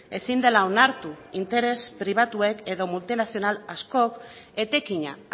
ezin dela onartu interes pribatuek edo multinazional askok etekina